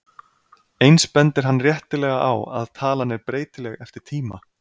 Eins bendir hann réttilega á að talan er breytileg eftir tíma.